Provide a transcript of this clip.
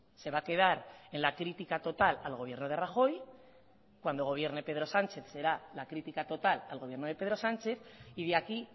se va a quedar en la crítica total al gobierno de rajoy cuando gobierne pedro sánchez será la crítica total al gobierno de pedro sánchez y de aquí